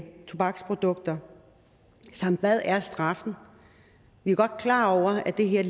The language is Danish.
tobaksprodukter samt hvad er straffen vi er godt klar over at det her